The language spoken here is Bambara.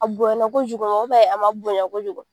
A bonyana kojugu a ma bonya kojugu